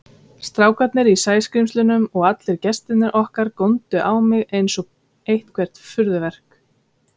Strákarnir í Sæskrímslunum og allir gestirnir okkar góndu á mig einsog eitthvert furðuverk.